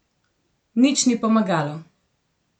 Nič ni pomagalo.